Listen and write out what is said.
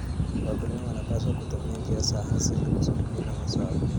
Wakulima wanapaswa kutumia njia za asili za kulinda mazao.